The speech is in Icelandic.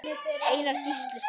Einar Gísli.